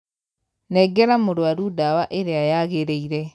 Nengera mũrwaru dawa ĩrĩa yagĩrĩire.